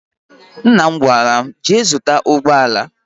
Nna m gwara m, jee zụta ụgbọala!